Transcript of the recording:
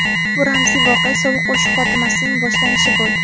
Bu ramziy voqea sovuq urush xotimasining boshlanishi bo‘ldi.